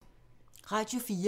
Radio 4